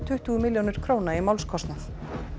tuttugu milljónir króna í málskostnað